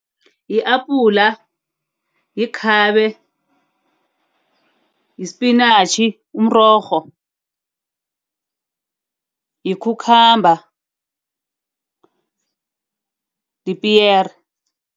Yi-apula, yikhabe, yispinatjhi umrorho, yi-cucumber, lipiyere.